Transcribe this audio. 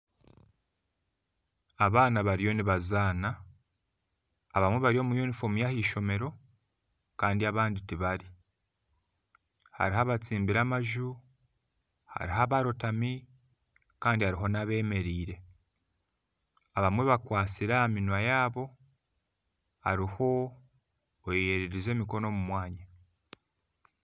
Abaana bariyo nibazaana abamwe bari omu yunifoomu yaheishomero Kandi abandi tibari hariho abatsimbire amaju hariho abarootami Kandi hariho nabemereire abamwe bakwatsire aha munwa yaabo hariho oyererize emikono omu mwanya